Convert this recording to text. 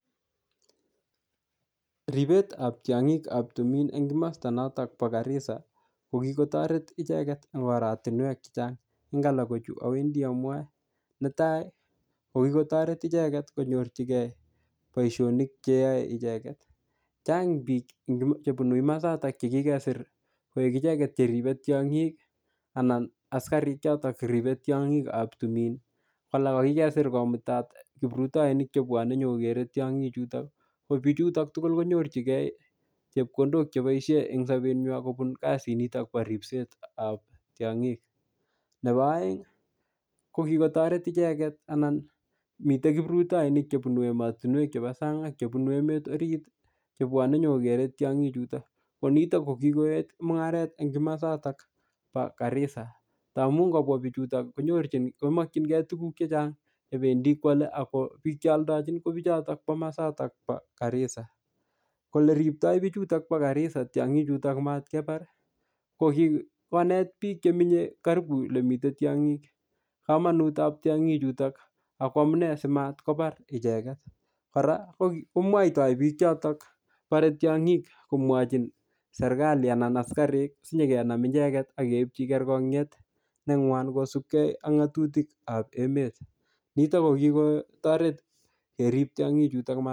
Ribetab tiong'ikab tumin eng' mosta notok bo Garisa ko kikotoret icheget eng' oratinwek chechang' eng' alak kochu awendi amwoe netai ko kikotoret icheget konyorchinigei boishonik cheyoei icheget chang' biik chebunu masatak chekikeser koik icheget cheribei tiong'ik anan askarik chotok ribei tiong'ikab tumin alak ko kikeser komutat kiprutoinik chebwonei nyikogerei tiong'ik chutok ko bichuton tugul konyorjingei chepkondok cheboishe eng' sobenywai kobun kasi nitok bo ripetab tiong'ik nebo oeng' ko kikotoret icheget anan mitei kiprutoinik chebunu emotinwek chebo sang' ak chebunu emet orit chebwonei nyikokerei tiong'i chutok ko nitok ko kikoet mung'aret eng' komosatak bo Garissa amun ngopwa bichutok komokchingei tukuk chechang' chebendi kwolei ak biik che oldojin ko bichotok bo mosataab Garissa ole riptoi bichutok bo Garissa tiong'i chutok komatkebar ko kikonet biik chemenyei karibu ole mitei tiong'ik kamanutab tiong'i chutok ako amune simatkobar icheget kora komwoitoi biik chotok borei tiong'ik komwochin serikali anan askarik sinyikenam icheget akeibchi kerkonyet neng'wan kosubkei ak ng'otutik ab emet nitok ko kikotoret kerip tiong'i chutok